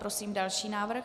Prosím další návrh.